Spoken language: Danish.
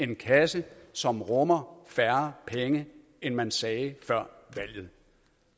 en kasse som rummer færre penge end man sagde før valget